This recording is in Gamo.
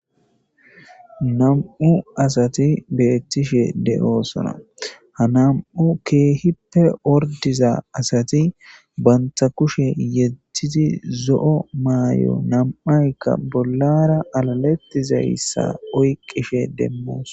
nam7u asati beettishe de7oosona ha nam7u keehippe ordiza asati bantha kushe yedztidi zo7o maay7o nam7aykka bollara alalettizayssa oyqqishe demmoos